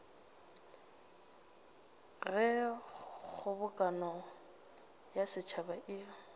ge kgobokano ya setšhaba e